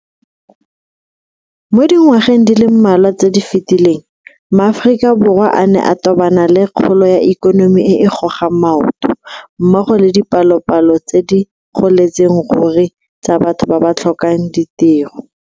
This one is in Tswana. Mo dingwageng di le mmalwa tse di fetileng ma Aforika Borwa a ne a tobana le kgolo ya ikonomi e e gogang maoto mmogo le dipalopalo tse di goletseng ruri tsa batho ba ba tlhokang ditiro.